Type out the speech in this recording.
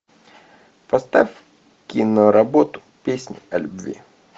поставь киноработу песнь о любви